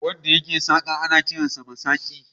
Wanda yake saƙa ana kiransa masaƙi.